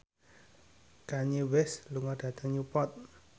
Kanye West lunga dhateng Newport